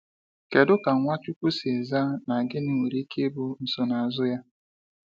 Kedu ka Nwachukwu si zaa, na gịnị nwere ike ịbụ nsonaazụ ya?